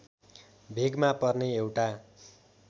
भेगमा पर्ने एउटा